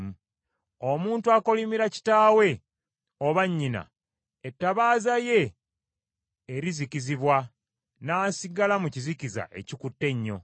Omuntu akolimira kitaawe oba nnyina, ettabaaza ye erizikizibwa n’asigala mu kizikiza ekikutte ennyo.